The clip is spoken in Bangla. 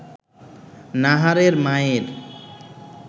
নাহারের মায়ের